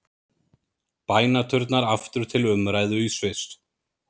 Bænaturnar aftur til umræðu í Sviss